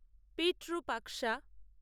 Pitru Paksha